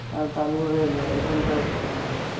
আর তারপরে এখানকার